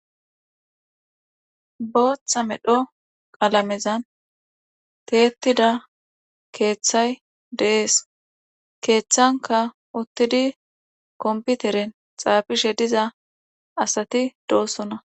Booththa medho qalamenzan tiyettida keethay de7es keeththankka uthidi kompiteren xaafishe diza asati doosona.